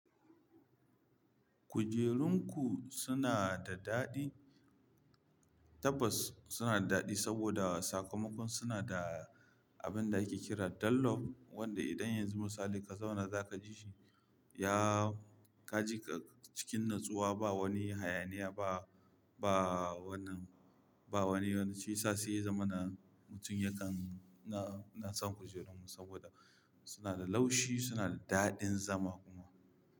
Kujerun ku suna da daɗi, tabbas suna da daɗi sabida sakamakon suna da abin da ake kira Dunlop wanda idan yanzu misali ka zauna zaka ji shi, ya ka ji ka cikin natsuwa ba wani hayaniya ba, ba wannan, ba wani wani shi yasa sai zamana, mutum yakan na, ina son kujerun mu sabida suna da laushi, suna da daɗin zama kuma.